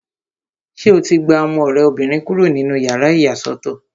Ṣé o ti gba ọmọ rẹ obìnrin kúrò nínú yàrá ìyàsọ́tọ̀?